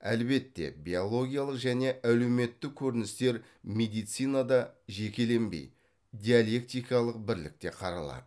әлбетте биологиялық және әлеуметтік көріністер медицинада жекеленбей диалектикалық бірлікте қаралады